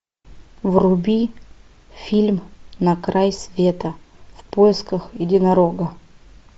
вруби фильм на край света в поисках единорога